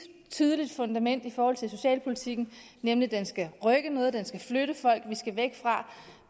tydeligt fundament for socialpolitikken nemlig at den skal rykke noget at den skal flytte folk at vi skal væk fra